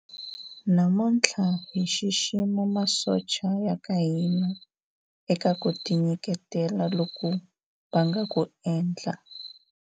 namuntlha hi xixima masocha ya ka hina eka ku tinyiketela loku va nga ku endla